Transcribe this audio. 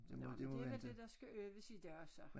Nåh men det var det der skal øves i dag så